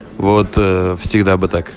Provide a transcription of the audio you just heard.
вот всегда